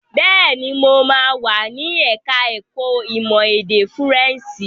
Bẹ́ẹ̀ni, mo máa wà ní ẹ̀ka ẹ̀kó ìmọ̀ èdè Fúrẹ́ǹṣì.